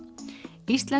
íslensk